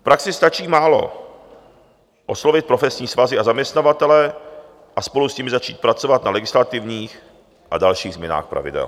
V praxi stačí málo - oslovit profesní svazy a zaměstnavatele a spolu s nimi začít pracovat na legislativních a dalších změnách pravidel.